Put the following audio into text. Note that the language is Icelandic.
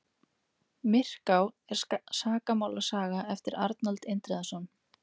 myrká er sakamálasaga eftir arnald indriðason